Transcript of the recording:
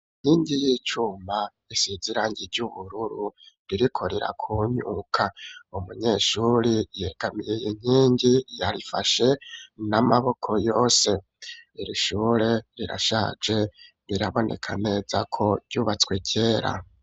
inkingi y'icuma isize irange ry'ubururu ririko rirakunyuka umunyeshuri yegamiye inkingi yarifashe n'amaboko yose iri shure rirashaje biraboneka neza ko ryubatswe kera.